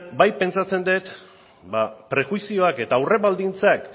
bai pentsatzen dut ba prejuizioak eta aurrebaldintzak